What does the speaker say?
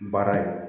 Baara in